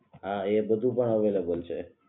હા એ બધુ પણ અવૈલેબલ છે